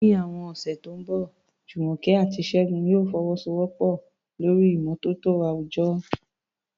Ní àwọn ọ̀sẹ̀ tó ń bọ̀, Jumoke àti Segun yóò fọwọ́sowọ́pọ̀ lórí ìmọ́tótó àwùjọ